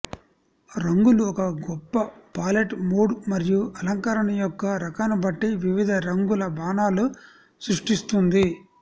రంగులు ఒక గొప్ప పాలెట్ మూడ్ మరియు అలంకరణ యొక్క రకాన్ని బట్టి వివిధ రంగుల బాణాలు సృష్టిస్తుంది